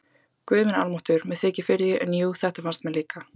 Guð minn almáttugur, mér þykir fyrir því, en jú, þetta fannst mér líka